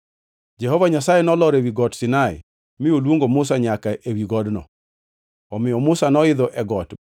Jehova Nyasaye nolor ewi Got Sinai mi oluongo Musa nyaka ewi godno. Omiyo Musa noidho e got